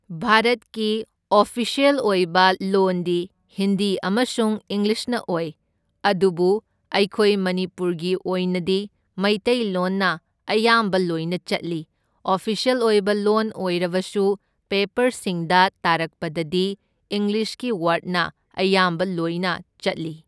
ꯚꯥꯔꯠꯀꯤ ꯑꯣꯐꯤꯁ꯭ꯌꯦꯜ ꯑꯣꯏꯕ ꯂꯣꯟꯗꯤ ꯍꯤꯟꯗꯤ ꯑꯃꯁꯨꯡ ꯏꯪꯂꯤꯁꯅ ꯑꯣꯏ, ꯑꯗꯨꯕꯨ ꯑꯩꯈꯣꯏ ꯃꯅꯤꯄꯨꯔꯒꯤ ꯑꯣꯏꯅꯗꯤ ꯃꯩꯇꯩꯂꯣꯟꯅ ꯑꯌꯥꯝꯕ ꯂꯣꯏꯅ ꯆꯠꯂꯤ, ꯑꯐꯤꯁ꯭ꯌꯦꯜ ꯑꯣꯏꯕ ꯂꯣꯟ ꯑꯣꯢꯔꯕꯁꯨ ꯄꯦꯄꯔꯁꯤꯡꯗ ꯇꯥꯔꯛꯄꯗꯗꯤ ꯏꯪꯂꯤꯁꯀꯤ ꯋꯥꯔꯗꯅ ꯑꯌꯥꯝꯕ ꯂꯣꯏꯅ ꯆꯠꯂꯤ꯫